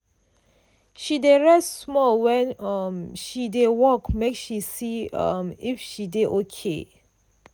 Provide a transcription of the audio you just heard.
she dey rest small when um she dey work make she see um if she dey okay.